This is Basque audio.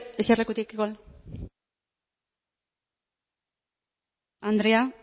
eserlekutik andrea